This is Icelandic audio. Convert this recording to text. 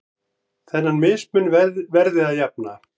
Þennan mismun verði að jafna.